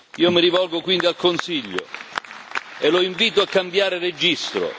Io mi rivolgo quindi al Consiglio e lo invito a cambiare registro